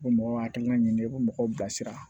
Ko mɔgɔ hakilina ye nin ye i ko mɔgɔw bilasira